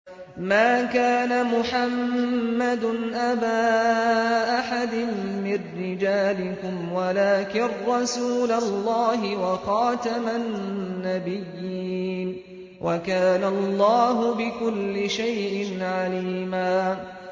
مَّا كَانَ مُحَمَّدٌ أَبَا أَحَدٍ مِّن رِّجَالِكُمْ وَلَٰكِن رَّسُولَ اللَّهِ وَخَاتَمَ النَّبِيِّينَ ۗ وَكَانَ اللَّهُ بِكُلِّ شَيْءٍ عَلِيمًا